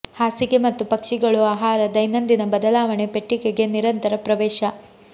ಹಾಸಿಗೆ ಮತ್ತು ಪಕ್ಷಿಗಳು ಆಹಾರ ದೈನಂದಿನ ಬದಲಾವಣೆ ಪೆಟ್ಟಿಗೆಗೆ ನಿರಂತರ ಪ್ರವೇಶ